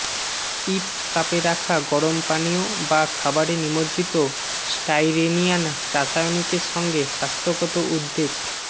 ifs কাপে রাখা গরম পানীয় বা খাবারে নিমজ্জিত স্টাইরেনিয়ান রাসায়নিকের সঙ্গে স্বাস্থ্যগত উদ্বেগ